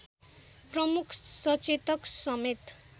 प्रमुख सचेतक समेत